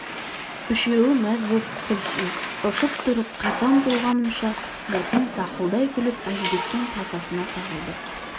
үшеуі мәз боп күлсін ұшып тұрып қайта ұмтылғанымша бәтен сақылдай күліп әжібектің тасасына тығылды